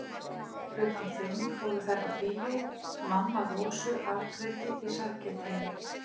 Klukkan fimm fóru þær á bíó, mamma Rósu afgreiddi í sælgætinu.